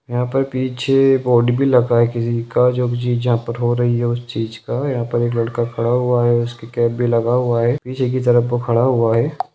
यहाँ पीछे बोर्ड भी लगा है किसी का जो चीज़े यहाँ पे हो रही है उस चीज़े का यहाँ पर एक लड़का खड़ा हुआ है उसके कैप भी लगा हुआ है पीछे की तरफ वह खड़ा हुआ है।